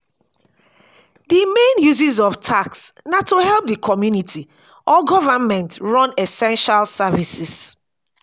di main uses of tax na to help di community or government run essential services